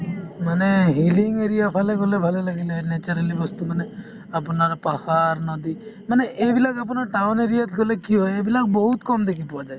মানে hilly area ৰ ফালে গলে ভালে লাগিলে হৈ naturally বস্তু মানে আপোনাৰ পাহাৰ নদী মানে এইবিলাক আপোনাৰ town area ত গ'লে কি হয় এইবিলাক বহুত কম দেখি পোৱা যায়